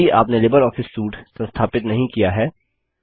यदि आपने LibreOffice suite संस्थापित नहीं किया है